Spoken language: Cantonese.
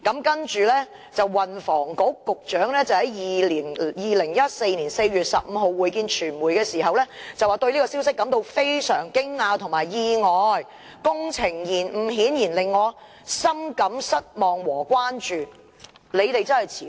他其後在2014年4月15日會見傳媒時說："對這個消息我是感到非常驚訝和意外，工程延誤顯然令我深感失望和關注。